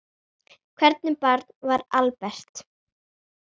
Hvernig barn var Albert?